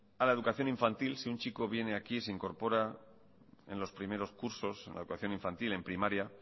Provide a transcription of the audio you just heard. a la educación infantil si un chico viene aquí se incorpora en los primeros cursos en la educación infantil en primaria